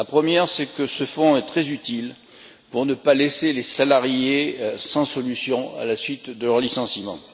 La première, c'est que ce fonds est très utile pour ne pas laisser les salariés sans solution à la suite de leur licenciement.